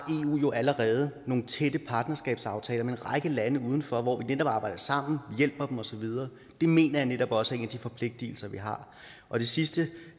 eu jo allerede nogle tætte partnerskabsaftaler med en række lande uden for hvor vi netop arbejder sammen hjælper dem og så videre det mener jeg netop også er en af de forpligtelser vi har og det sidste